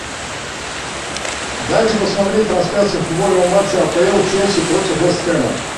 дайте посмотреть трансляцию футбольного матча апл челси против вест хэма